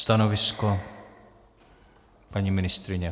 Stanovisko, paní ministryně?